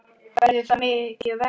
Verður það mikið verra?